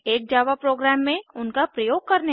एक Java program में उनका प्रयोग करने में